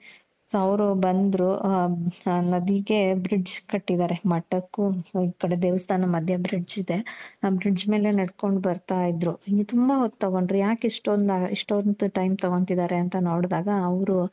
"ಅವ್ರು ಬಂದ್ರೂ ನದಿಗೆ bridge ಕಟ್ಟಿದಾರೆ. ಮಠಕ್ಕೂ ಈ ಕಡೆ ದೇವಸ್ಥಾನ ಮಧ್ಯ bridge ಇದೆ. ಆ bridge ಮೇಲೆ ನಡ್ಕೊಂಡು ಬರ್ತಾ ಇದ್ರು. ಹಿಂಗೆ ತುಂಬಾ ಹೊತ್ತು